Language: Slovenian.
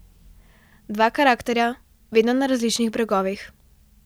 Dva karakterja, vedno na različnih bregovih.